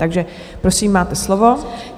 Takže, prosím, máte slovo.